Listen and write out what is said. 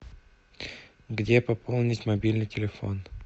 где пополнить мобильный телефон